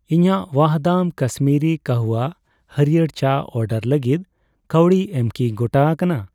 ᱤᱧᱟᱜ ᱣᱟᱦᱫᱟᱢ ᱠᱟᱥᱢᱤᱨᱤ ᱠᱟᱦᱣᱟ ᱦᱟᱹᱲᱭᱟᱹᱨ ᱪᱟ ᱚᱰᱟᱨ ᱞᱟᱜᱤᱫ ᱠᱟᱹᱣᱰᱤ ᱮᱢ ᱠᱤ ᱜᱚᱴᱟ ᱟᱠᱟᱱᱟ ?